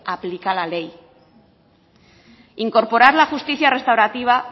aplica la ley incorporar la justicia restaurativa